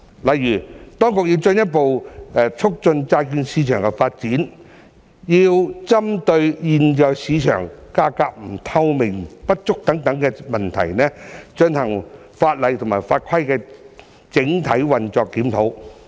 例如，當局要進一步促進債券市場發展，要針對現時市場價格透明度不足等問題，進行法例法規與整體運作的檢討。